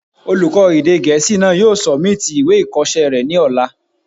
Olùkọ́ èdè gẹ̀ẹ́sì náà yóò sọ̀míìtì ìwé ìkọsẹ́ rẹ̀ ní ọ̀la